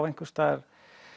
einhvers staðar